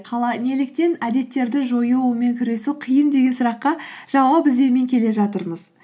қалай неліктен әдеттерді жою онымен күресу қиын деген сұраққа жауап іздеумен келе жатырмыз